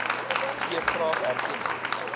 gee graag erkenning